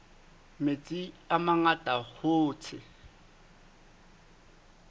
metsi a mangata hoo tse